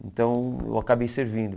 Então eu acabei servindo.